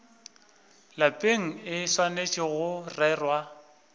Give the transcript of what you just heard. lapeng e swanetše go rerwa